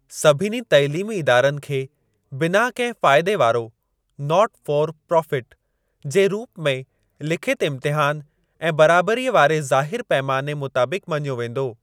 सभिनी तइलीमी इदारनि खे बिना कहिं फ़ाइदे वारो 'नॉट फॉर प्रॉफिट' जे रूप में लिखित इम्तहान ऐं बराबरीअ वारे ज़ाहिर पैमाने मुताबिक मञियो वेंदो।